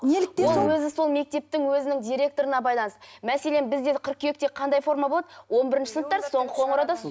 неліктен сол ол өзі сол мектептің өзінің директорына байланысты мәселен бізде қыркүйекте қандай форма болады он бірінші сыныптар соңғы қоңырауда